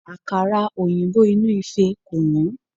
Àkàrà òyìnbó inú ìfẹ́ kò wọ́n.